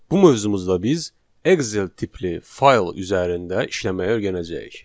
Bu mövzumuzda biz Excel tipli fayl üzərində işləməyi öyrənəcəyik.